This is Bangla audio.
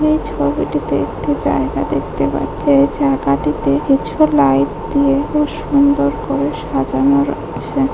আমি এই ছবিটিতে একটি জায়গা দেখতে পাচ্ছি এই জায়গাটিতে কিছু লাইট দিয়ে ও সুন্দর করে সাজানো র‍য়েছে।